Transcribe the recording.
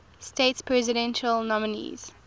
states presidential nominees